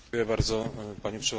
Panie Przewodniczący!